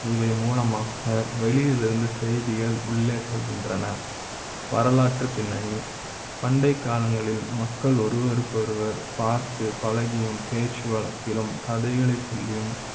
இவை மூலமா வெளியில் இருந்து செய்திகள் உள்ளே செல்கின்றன வரலாற்றுப்பின்னணி பண்டை கால ங்களில் மக்கள் ஒருவரு க்கு ஒருவர் பார்த்து பழகி யும் பேச்சு வழக்கிலும் கதைகளை சொல்லி யும்